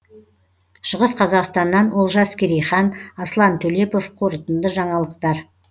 шығыс қазақстаннан олжас керейхан аслан төлепов қорытынды жаңалықтар